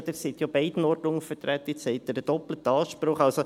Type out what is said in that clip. «Sie sind an beiden Orten untervertreten und haben einen doppelten Anspruch.»